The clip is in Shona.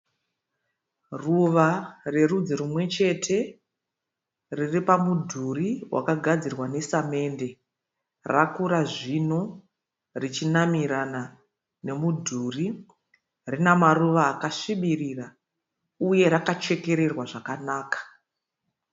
Ruva rerudzi rimwechete. Riri pamudhuri wakagadzirwa nesamende. Rakura zvino richinamirana nemudhuri. Rina maruva akasvibirira uye rakachekererwa zvakanaka.